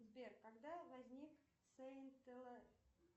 сбер когда возник